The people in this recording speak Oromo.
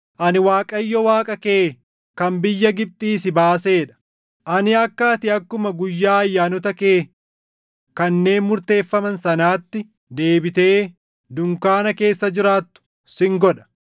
“Ani Waaqayyo Waaqa kee kan biyya Gibxii si baasee dha; ani akka ati akkuma guyyaa ayyaanota kee // kanneen murteeffaman sanaatti deebitee dunkaana keessa jiraattu sin godha.